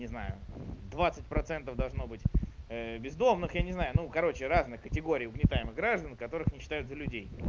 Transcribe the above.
не знаю двадцать процентов должно быть бездомных я не знаю ну короче разных категорий угнетаемых граждан которых не считают за людей